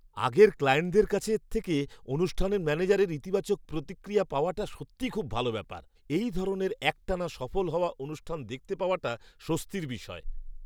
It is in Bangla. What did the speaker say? আগের ক্লায়েন্টদের কাছ থেকে অনুষ্ঠানের ম্যানেজারের ইতিবাচক প্রতিক্রিয়া পাওয়াটা সত্যিই খুব ভাল ব্যাপার। এই ধরনের একটানা সফল হওয়া অনুষ্ঠান দেখতে পাওয়াটা স্বস্তির বিষয়।